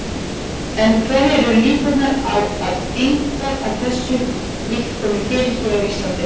En hverjar eru líkurnar á að eitthvað þessu líkt komi fyrir hér á Íslandi?